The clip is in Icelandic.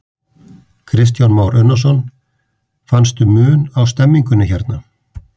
Kristján Már Unnarsson: Fannstu mun á stemningunni hérna?